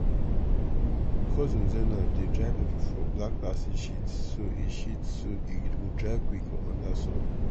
cousin zainab dey dry pepper for black plastic sheets so e sheets so e go dry quick under sun.